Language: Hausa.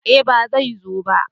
Eh ba zai zo ba